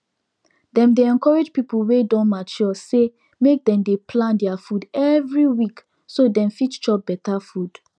dem dey encourage pipu wey don mature say make dem dey plan their food every week so dem fit chop better food